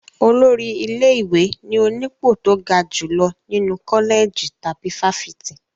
Olórí ilé-ìwé ni onípò tó ga jùlọ nínú kọ́lẹ̀jì tàbí fáfitì.